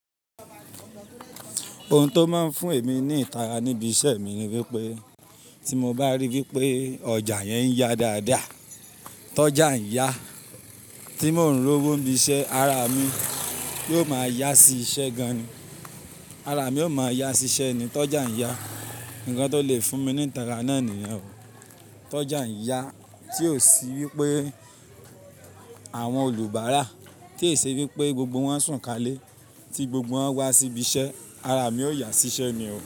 Ohun tó máa ń fún èmi ní ìtara níbi iṣẹ́ mi ni wípé tí mo bá rí wípé ọjà yẹn ń yá dáadáa, tọ́jà ń yá, tí mò ún rówó íbi iṣẹ́, ara mi yóò máa yá sí iṣẹ́ gan-an ni Ara mi yóò máa yá sí iṣẹ́ ni tọ́jà ń yá. Ǹkan tó lè fún mi ní ìtara náà nìyẹn o. Tọ́jà ń yá tí ó sì wípé àwọn olùbáárà tí e ṣe wípé gbogbo wọn ń sùn kálé tí gbogbo wọn wá sí ibi iṣẹ́, ara mi ó yá sí iṣẹ́ ni o.